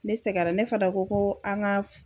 Ne sɛgɛra ne fɛnɛ ko ko an ka